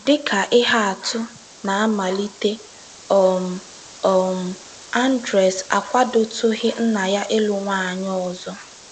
Dị ka ihe atụ, ná mmalite um, um Andres akwadotụghị nna ya ịlụ nwaanyị ọzọ.